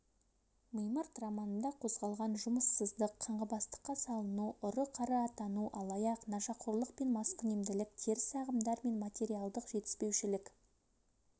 мимырт романында қозғалған жұмыссыздық қаңғыбастыққа салыну ұры-қары атану алаяқ нашақорлық пен маскүнемділік теріс ағымдар мен материалдық жетіспеушілік